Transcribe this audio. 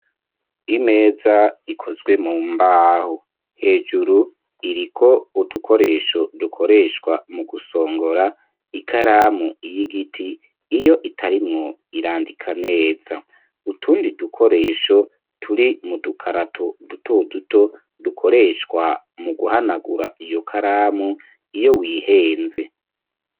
Imeza ikozwe mu mbaho hejuru iriko udukoresho dukoreshwa mu gusongora ikaramu y'igiti iyo itarimwo irandika neza utundi dukoresho turi mu dukarato duto duto dukoreshwa mu guhanagura iyo karamu iyo wihenze.